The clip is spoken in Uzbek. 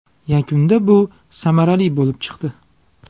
Yakunda bu samarali bo‘lib chiqdi.